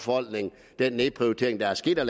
den nedprioritering der er sket af